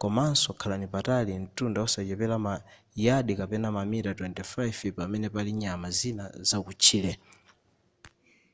komaso khalani patali mtunda osachepera ma yadi kapena mamita 25 pamene pali nyama zina zakutchire